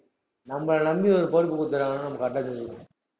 நம்மளை நம்பி ஒரு பொறுப்பு கொடுத்திருக்காங்கன்னா நம்ம correct ஆ செஞ்சு~